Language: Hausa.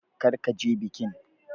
Kar ka je bikin!